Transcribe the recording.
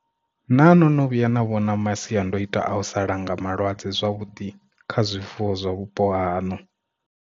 Naa no no vhuya na vhona masiandoitwa a u sa langa malwadze zwavhuḓi kha zwifuwo zwa vhupo haṋu?